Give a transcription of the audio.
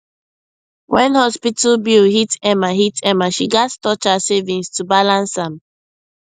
when hospital bill hit emma hit emma she gats touch her savings to balance am